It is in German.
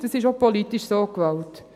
Das ist auch politisch so gewollt.